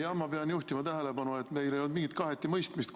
Ma pean juhtima tähelepanu, et meil ei olnud mingit kaheti mõistmist.